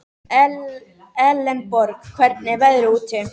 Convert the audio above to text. Elenborg, hvernig er veðrið úti?